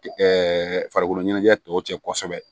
farikolo ɲɛnajɛ tɔw cɛ kosɛbɛ